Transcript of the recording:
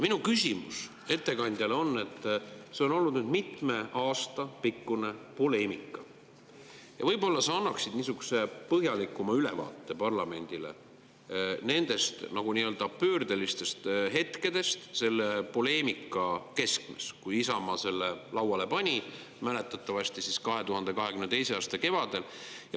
Minu küsimus ettekandjale on, et kuna see on olnud nüüd mitme aasta pikkune poleemika, siis võib-olla sa annad parlamendile niisuguse põhjalikuma ülevaate nendest pöördelistest hetkedest selle poleemika keskmes, kui Isamaa selle lauale pani mäletatavasti 2022. aasta kevadel.